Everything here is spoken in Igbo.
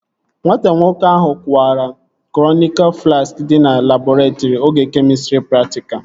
Nwata nwoke ahụ kụwara kronika flaski dị na labọretrị oge kemịstrị praktikal